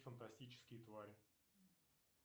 фантастические твари